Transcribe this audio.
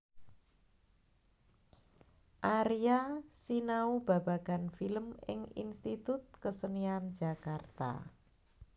Aria sinau babagan film ing Institut Kesenian Jakarta